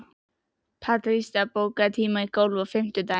Patrisía, bókaðu hring í golf á fimmtudaginn.